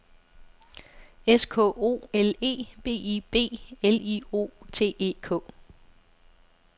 S K O L E B I B L I O T E K